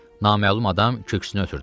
Naməlum adam köksünü ötürdü.